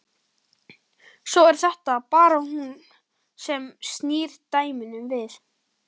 Svo er það bara hún sem snýr dæminu við.